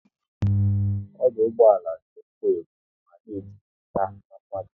Ọdụ ụgbọala na ekwo ekwo mana e jupụta n'mmadu